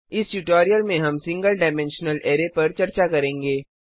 इस ट्यूटोरियल में हम सिंगल डाइमेंशनल अरै पर चर्चा करेंगे